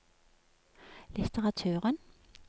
litteraturen